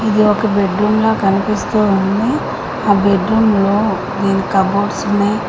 ఇది ఒక bed room లా కనిపిస్తూ ఉంది ఆ బెడ్ రూమ్ లో కాబోర్డ్ ఉన్నాయి.